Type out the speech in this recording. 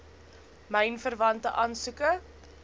myn verwante aansoeke